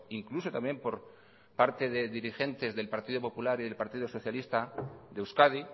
incluso también por parte de dirigentes del partido popular y del partido socialista de euskadi